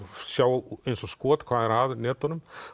sjá eins og skot hvað er að netunum